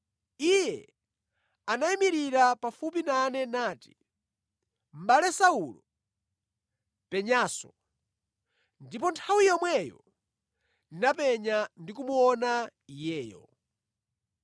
Iye anayimirira pafupi nane nati, ‘Mʼbale Saulo, penyanso!’ Ndipo nthawi yomweyo ndinapenya ndikumuona iyeyo.